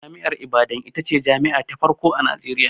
Jami'ar Ibadan ita ce jami'a ta farko a Najeriya.